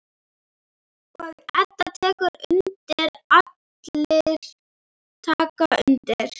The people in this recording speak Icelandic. Og Edda tekur undir, allir taka undir.